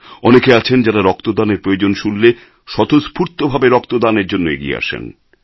অনেকে আছেন যাঁরা রক্তদানের প্রয়োজন শুনলে স্বতঃস্ফূর্ত ভাবে রক্তদানের জন্য এগিয়ে আসেন